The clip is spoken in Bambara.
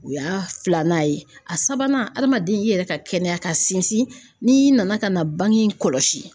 U y'a filanan ye a sabanan adamaden i yɛrɛ ka kɛnɛya ka sinsin n'i nana ka na bangg in kɔlɔsi.